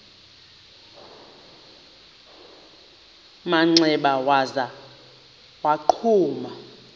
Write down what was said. manxeba waza wagquma